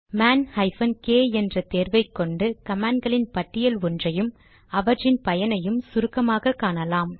man hyphen k என்ற தேர்வை கொண்டு கமாண்ட் களின் பட்டியல் ஒன்றையும் அவற்றின் பயனையும் சுருக்கமாக காட்டும்